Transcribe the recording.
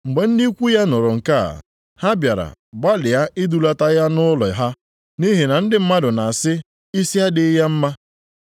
Mgbe ndị ikwu ya nụrụ nke a, ha bịara gbalịa idulata ya nʼụlọ ha, nʼihi na ndị mmadụ na-asị, “Isi adịghị ya mma.”